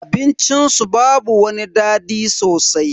Abincin su babu wani dadi sosai.